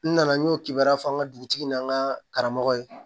N nana n y'o kibaruya fɔ an ka dugutigi n'an ka karamɔgɔ ye